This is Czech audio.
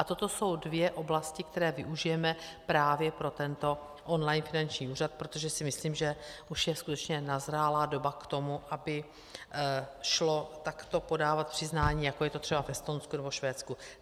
A toto jsou dvě oblasti, které využijeme právě pro tento online finanční úřad, protože si myslím, že už je skutečně nazrálá doba k tomu, aby šlo takto podávat přiznání, jako je to třeba v Estonsku nebo Švédsku.